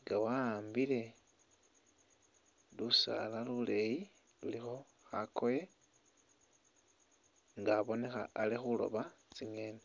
nga wa'ambile lusaala luleeyi lulikho khakoye nga abonekha ali khuroba tsingeeni.